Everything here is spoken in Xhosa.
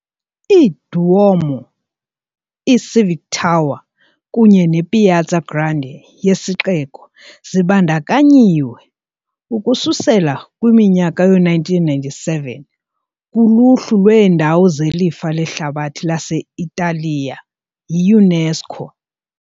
I -Duomo, i- Civic Tower kunye ne- Piazza Grande yesixeko zibandakanyiwe, ukususela kwi-1997, kuluhlu lweendawo zelifa lehlabathi lase-Italiya yi-UNESCO.